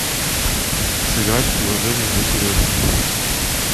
сыграть в приложение для сережи